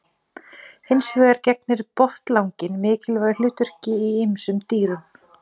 Hins vegar gegnir botnlanginn mikilvægu hlutverki í ýmsum dýrum.